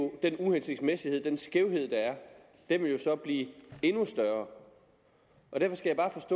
den uhensigtsmæssighed den skævhed der er blive endnu større